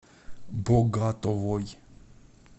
богатовой